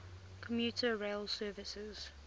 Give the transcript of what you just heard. commuter rail service